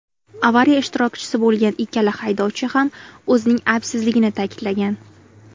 Avariya ishtirokchisi bo‘lgan ikkala haydovchi ham o‘zining aybsizligini ta’kidlagan.